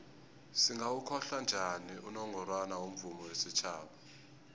singawokhohla njani unongorwana womvumo wesitjhaba